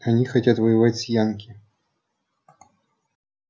они хотят воевать с янки